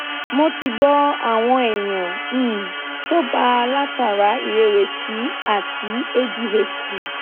mo ti gbo awon eyan um to gba latara irewesi ati adhd